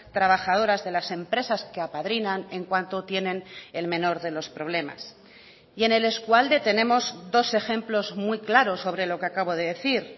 trabajadoras de las empresas que apadrinan en cuanto tienen el menor de los problemas y en el eskualde tenemos dos ejemplos muy claros sobre lo que acabo de decir